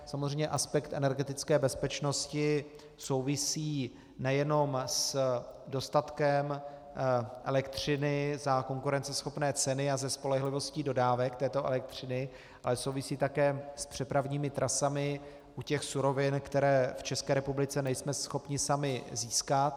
Samozřejmě aspekt energetické bezpečnosti souvisí nejenom s dostatkem elektřiny za konkurenceschopné ceny a za spolehlivosti dodávek této elektřiny, ale souvisí také s přepravními trasami u těch surovin, které v České republice nejsme schopni sami získat.